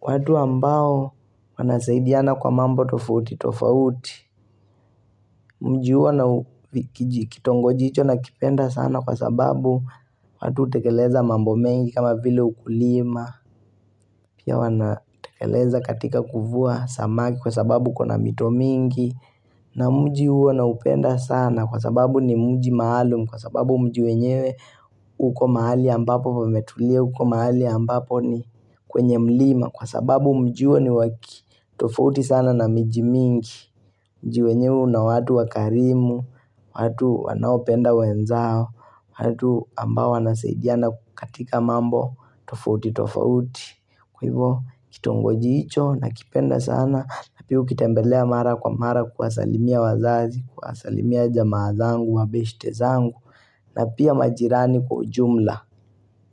watu ambao wanasaidiana kwa mambo tofauti tofauti Mji huo na kitongoji hicho na kipenda sana kwa sababu watu hutekeleza mambo mengi kama vile ukulima Pia wanatekeleza katika kuvua samaki kwa sababu kuna mito mingi na mji huo naupenda sana kwa sababu ni mji maalum Kwa sababu mji wenyewe uko mahali ambapo pametulia uko mahali ambapo ni kwenye mlima Kwa sababu mji huo ni wakitofauti sana na miji mingi Mji wenyewe una watu wakarimu watu wanaopenda wenzao watu ambao wanasaidiana katika mambo tofauti tofauti Kwa hivyo kitongoji hicho nakipenda sana Napia ukitembelea mara kwa mara kuwasalimia wazazi kuwasalimia jamaa zangu, wabeste zangu na pia majirani kwa ujumla.